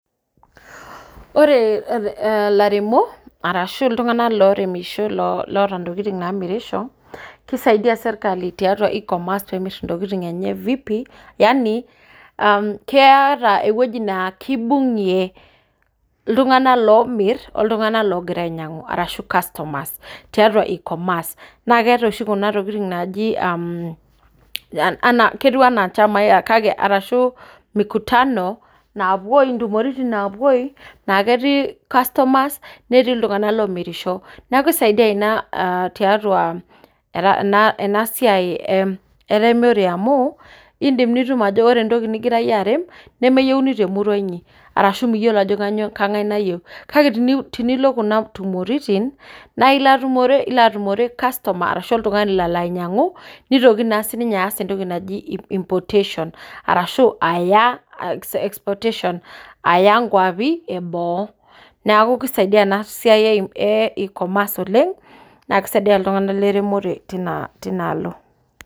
Ore ilaramatak ashu iltunganak loota ntokitin naamirisho, kisidai sirkali tiatua e-commerce pee eisho ntokitin enye VIPI.yaani keeta entoki naa kibungie iltunganak loomir oltunganak loogira ainyiangu arshu customers. tiatua e-commerce .naa keetae oshi Kuna tokitin naaji, ana ketiu anna inchamaina arashu. ntumoritin naa ketii customers netii iltunganak lolmiriahi neeku isaidia Ina, tiatua ena siai eremore. amu idim aa ore entoki nigira iyie arem nemeyieuni temurua inyi. ashu miyiolo ajo kainyioo. kengae nayieu. kake tenilo Kuna tumoritin. naa ilo atumore customer ashu oltungani, Lolo ainyiangu, nitoki naa sii ninye aas entoki naji importation arashu aya exportation aya nkuapi eboo.